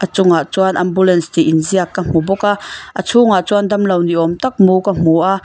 a chungah chuan ambulance tih inziak ka hmu bawk a a chhungah chuan damlo ni awm tak mu ka hmu a.